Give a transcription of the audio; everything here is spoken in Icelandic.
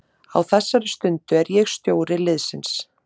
Á þessari stundu er ég stjóri liðsins.